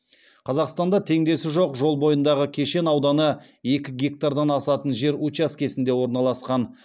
қазақстанда теңдесі жоқ жол бойындағы кешен ауданы екі гектардан асатын жер учаскесінде орналасқан